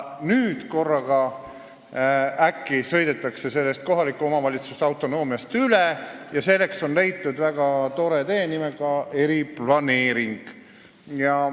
Nüüd korraga sõidetakse sellest kohaliku omavalitsuse autonoomiast üle ja selleks on leitud väga tore tee nimega "eriplaneering".